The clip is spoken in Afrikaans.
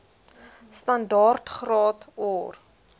standaard graad or